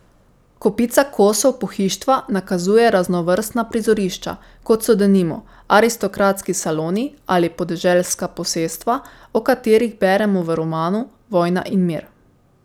Kopica kosov pohištva nakazuje raznovrstna prizorišča, kot so denimo aristokratski saloni ali podeželska posestva, o katerih beremo v romanu Vojna in mir.